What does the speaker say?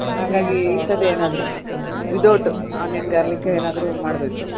ಹಾಗಾಗಿ ಇಂತದ್ದೆ ಎನಾದ್ರು without onion garlic ಏನಾದ್ರು ಮಾಡ್ಬೇಕು.